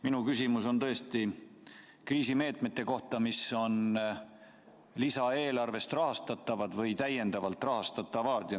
Minu küsimus on kriisimeetmete kohta, mis on lisaeelarvest rahastatavad või täiendavalt rahastatavad.